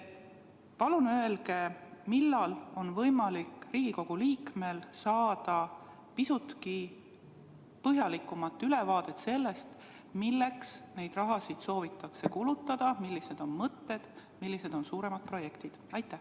Palun öelge, millal on võimalik Riigikogu liikmetel saada pisutki põhjalikumat ülevaadet sellest, milleks neid summasid soovitakse kulutada, millised on mõtted, millised on suuremad projektid!